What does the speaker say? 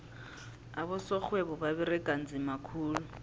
abosorhwebo baberega nzima khulu